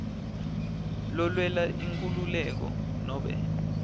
lelwela inkhululeko nobe